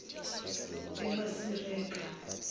emasireka